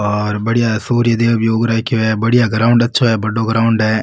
और बढ़िया सूर्य देव भी उग रखे है बढ़िया ग्राउंड है अच्छा बड़ो ग्राउंड है।